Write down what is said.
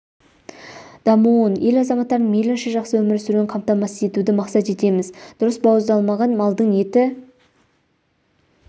дамуын ел азаматтарының мейлінше жақсы өмір сүруін қамтамасыз етуді мақсат етеміз дұрыс бауыздалмаған малдың еті